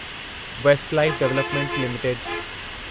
waste life development limited